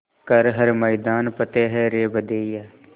कर हर मैदान फ़तेह रे बंदेया